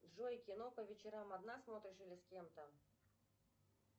джой кино по вечерам одна смотришь или с кем то